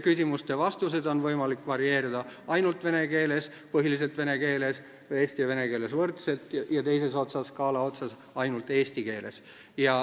Küsimuste vastuseid on võimalik varieerida järgmiselt: "ainult vene keeles", "põhiliselt vene keeles", "eesti ja vene keeles võrdselt" ning teises skaala otsas on "ainult eesti keeles".